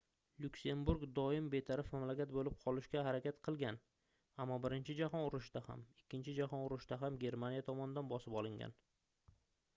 lyuksemburg doim betaraf mamlakat boʻlib qolishga harakat qilgan ammo birinchi jahon urushida ham ikkinchi jahon urushida ham germaniya tomonidan bosib olingan